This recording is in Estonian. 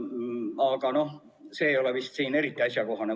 Aga see ei ole vist siin eriti asjakohane.